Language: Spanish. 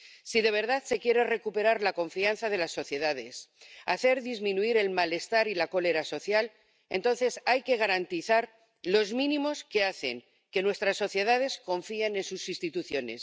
Si de verdad se quiere recuperar la confianza de las sociedades y hacer disminuir el malestar y la cólera social, hay que garantizar los mínimos que hacen que nuestras sociedades confíen en sus instituciones.